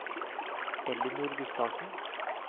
Ellinor Gustavsen